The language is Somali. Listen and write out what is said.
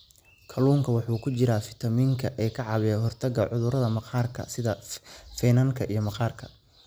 Kalluunka waxaa ku jira fiitamiin e ka caawiya ka hortagga cudurrada maqaarka sida finanka iyo maqaarka.